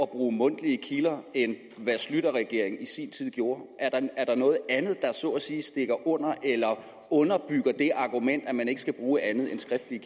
bruge mundtlige kilder end hvad schlüterregeringen i sin tid gjorde er der noget andet der så at sige stikker under eller underbygger det argument at man ikke skal bruge andet end skriftlige